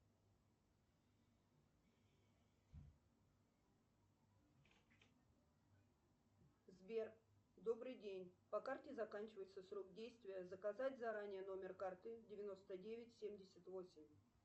сбер добрый день по карте заканчивается срок действия заказать заранее номер карты девяносто девять семьдесят восемь